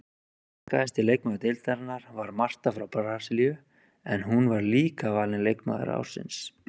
Markahæsti leikmaður deildarinnar var Marta frá Brasilíu en hún var líka valin leikmaður ársins.